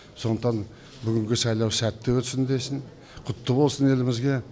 сондықтан бүгінгі сайлау сәтті өтсін десін құтты болсын елімізге